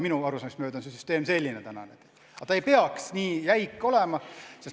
Minu arusaamist mööda on see süsteem praegu selline, aga see ei peaks nii jäik olema.